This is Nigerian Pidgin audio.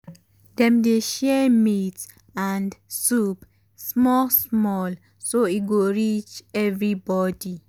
dem dey share meat and soup small small so e go reach everybody.